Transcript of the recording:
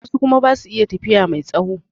Wasu kuma basu iya tafiya mai tsawo